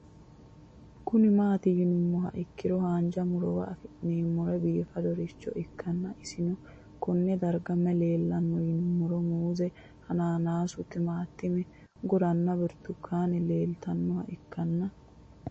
Kuni mati yinumoha ikiro hanja murowa afine'mona bifadoricho ikana isino Kone darga mayi leelanno yinumaro muuze hanannisu timantime gooranna buurtukaane leelitoneha ikanna